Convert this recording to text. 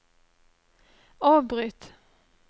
avbryt